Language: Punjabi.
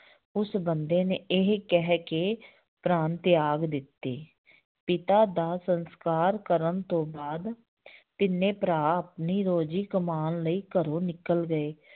ਉਸ ਬੰਦੇ ਨੇ ਇਹ ਕਹਿ ਕੇ ਪਰਾਣ ਤਿਆਗ ਦਿੱਤੇ ਪਿਤਾ ਦਾ ਸੰਸਕਾਰ ਕਰਨ ਤੋਂ ਬਾਅਦ ਤਿੰਨੇ ਭਰਾ ਆਪਣੀ ਰੋਜ਼ੀ ਕਮਾਉਣ ਲਈ ਘਰੋਂ ਨਿਕਲ ਗਏ